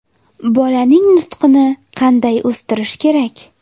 Bolaning nutqini qanday o‘stirish kerak?